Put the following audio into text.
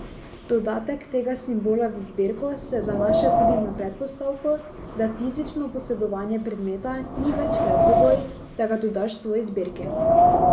Dodatek tega simbola v zbirko se zanaša tudi na predpostavko, da fizično posedovanje predmeta ni več predpogoj, da ga dodaš svoji zbirki.